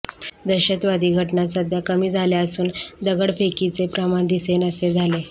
दहशतवादी घटना सध्या कमी झाल्या असून दगडफेकीचे प्रमाण दिसेनासे झाले